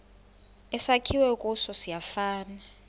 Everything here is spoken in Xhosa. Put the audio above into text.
esakhiwe kuso siyafana